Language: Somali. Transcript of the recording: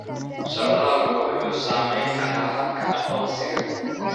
Socdaalku wuxuu saamayn karaa habka aqoonsiga.